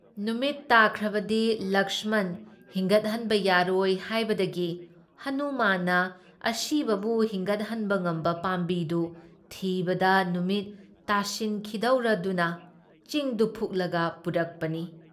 ꯅꯨꯃꯤꯠ ꯇꯥꯈ꯭ꯔꯕꯗꯤ ꯂꯛꯁꯃꯟ ꯍꯤꯡꯒꯠꯍꯟꯕ ꯌꯥꯔꯣꯏ ꯍꯥꯏꯕꯗꯒꯤ ꯍꯅꯨꯃꯥꯟꯅ ꯑꯁꯤꯕꯕꯨ ꯍꯤꯡꯒꯠꯍꯟꯕ ꯉꯝꯕ ꯄꯥꯝꯕꯤꯗꯨ ꯊꯤꯕꯗ ꯅꯨꯃꯤꯠ ꯇꯥꯁꯤꯟꯈꯤꯗꯧꯔꯗꯨꯅ ꯆꯤꯡꯗꯨ ꯐꯨꯛꯂꯒ ꯄꯨꯔꯛꯄꯅꯤ ꯫